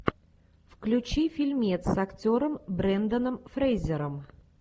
включи фильмец с актером бренданом фрейзером